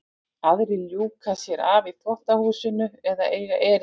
Aðrir ljúka sér af í þvottahúsinu eða eiga erindi niður í geymslu.